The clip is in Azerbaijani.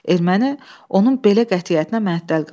Erməni onun belə qətiyyətinə məəttəl qaldı.